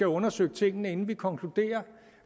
undersøgt tingene inden vi konkluderer